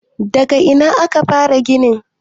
daga Ina aka fara ginin?